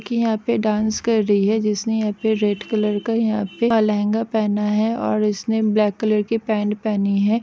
की यहा पे डांस कर रही है जिसने यहा पे डेर कलर का यहा पे लहंगा पहना हे और इसने ब्लेक कलर की पेंट पहनी है।